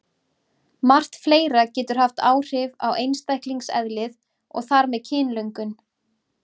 Margt fleira getur haft áhrif á einstaklingseðlið og þar með kynlöngun.